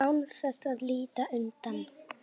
Án þess að líta undan.